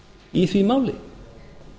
í því máli